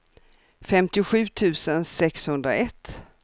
femtiosju tusen sexhundraett